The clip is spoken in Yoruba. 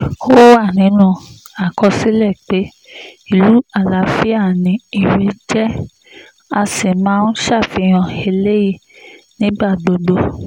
ó wà nínú àkọsílẹ̀ pé ìlú àlàáfíà ni irèé jẹ́ a sì máa ń ṣàfihàn eléyìí nígbà gbogbo